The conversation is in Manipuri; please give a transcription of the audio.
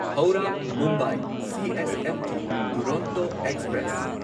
Howrah Mumbai CSMT Duronto express